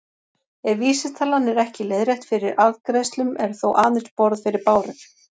Ef vísitalan er ekki leiðrétt fyrir arðgreiðslum er þó aðeins borð fyrir báru.